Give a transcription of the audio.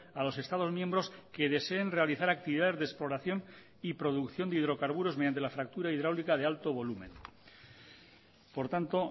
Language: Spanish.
a los estados miembros que deseen realizar actividades de exploración y producción de hidrocarburos mediante la fractura hidráulica de alto volumen por tanto